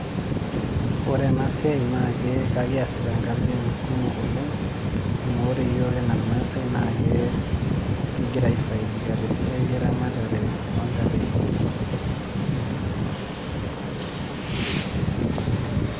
Ore enasiai nake ekiasita nkatitin kumok oleng, amu ore yiok enaa irmaasai nake kigira aifaidika tesiai eramatare ontare.